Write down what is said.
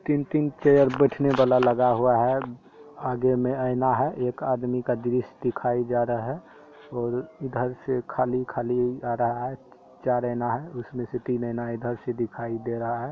तीन-तीन चेयर बैठने वाला लगा हुआ है। आगे में आईना है। एक आदमी का दृश्य दिखाई जा रहा है। ओर इधर से खाली खाली आ रहा है। चार आईना है उसमे से तीन आईना इधर से दिखाई दे रहा है।